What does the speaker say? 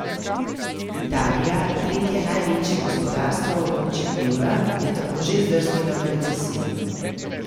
Italija, tretje največje gospodarstvo območja evra, je tako že zdrsnila v recesijo.